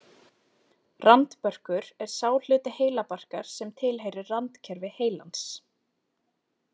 Randbörkur er sá hluti heilabarkar sem tilheyrir randkerfi heilans.